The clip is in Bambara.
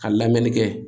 Ka lamɛnni kɛ